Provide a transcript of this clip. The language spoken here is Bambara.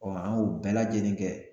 an y'o bɛɛ lajɛlen kɛ